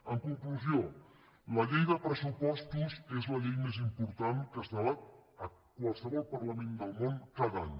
en conclusió la llei de pressupostos és la llei més im·portant que es debat a qualsevol parlament del món ca·da any